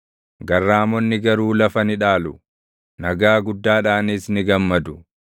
Garraamonni garuu lafa ni dhaalu; nagaa guddaadhaanis ni gammadu.